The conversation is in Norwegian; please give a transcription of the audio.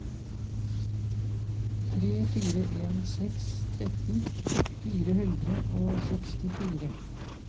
tre fire en seks tretten fire hundre og sekstifire